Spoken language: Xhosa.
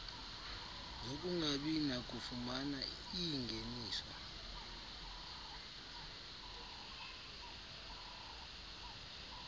zokungabi nakufumana iingeniso